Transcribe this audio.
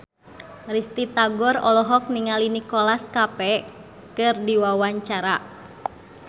Risty Tagor olohok ningali Nicholas Cafe keur diwawancara